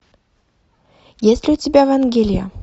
есть ли у тебя вангелия